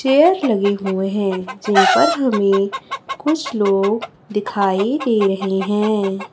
Chair लगे हुए हैं जिन पर हमें कुछ लोग दिखाई दे रहे हैं।